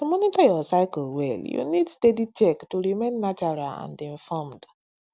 to monitor your cycle well you need steady check to remain natural and informed